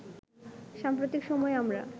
সাম্প্রতিক সময়ে আমরা